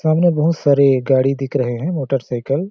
सामने बहुत सारी गाड़ी दिख रहै हैं मोटरसाइकल --